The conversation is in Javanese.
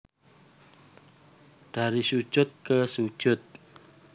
Dari Sujud Ke Sujud